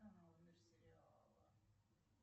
канал мир сериала